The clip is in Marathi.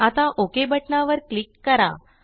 आता ओक बटणावर क्लिक करा